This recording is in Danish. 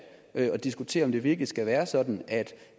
at diskutere om det virkelig skal være sådan at